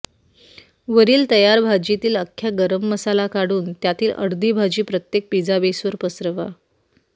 वरील तयार भाजीतील अख्खा गरम मसाला काढून त्यातील अर्धी भाजी प्रत्येक पिझ्झा बेसवर पसरवा